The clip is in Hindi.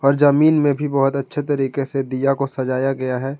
जमीन में भी बहोत अच्छे तरीके से दीया मिला को सजाया गया है।